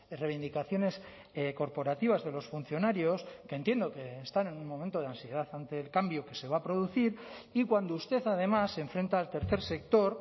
reivindicaciones corporativas de los funcionarios que entiendo que están en un momento de ansiedad ante el cambio que se va a producir y cuando usted además se enfrenta al tercer sector